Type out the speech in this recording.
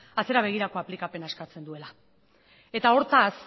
atzera begirako aplikazioa eskatzen duela eta hortaz